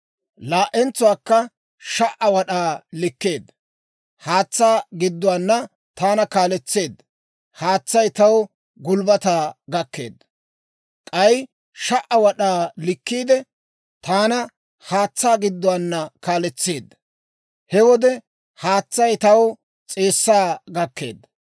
Laa"entsuwaakka 1,000 wad'aa likkiide, haatsaa gidduwaana taana kaaletseedda. Haatsay taw gulbbataa gakkeedda. K'ay 1,000 wad'aa likkiide, taana haatsaa gidduwaana kaaletseedda. He wode haatsay taw s'eessaa gakkeedda.